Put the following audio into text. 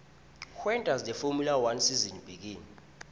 when does the formula one season begin